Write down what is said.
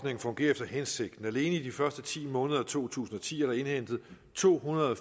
fungerer efter hensigten alene i de første ti måneder af to tusind og ti er der indhentet tohundrede og